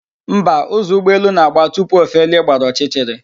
Mba, ụzọ ụgbọelu na-agba tupu o felie gbara ọchịchịrị